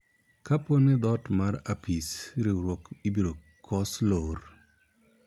kapo ni dhoot mar apis riwruok ibiro kos lor